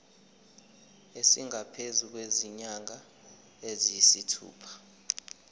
esingaphezu kwezinyanga eziyisithupha